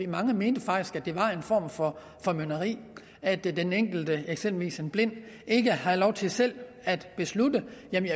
mange mente faktisk at det var en form for formynderi at den enkelte eksempelvis en blind ikke havde lov til selv at beslutte